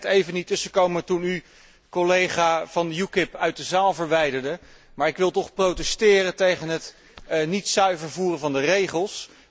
Ik kon er net even niet tussenkomen toen u de collega van UKIP uit de zaal verwijderde, maar ik wil toch protesteren tegen het niet zuiver uitvoeren van de regels.